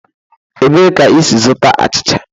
Ebee ka i si zụta achịcha?